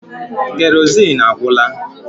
Kerozin agwụla